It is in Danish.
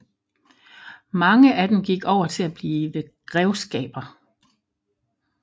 Mange af dem gik over til at blive grevskaber